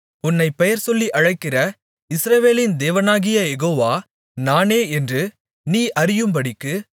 உன்னைப் பெயர்சொல்லி அழைக்கிற இஸ்ரவேலின் தேவனாகிய யெகோவா நானே என்று நீ அறியும்படிக்கு